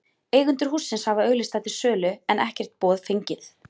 Eigendur hússins hafa auglýst það til sölu, en ekkert boð fengið.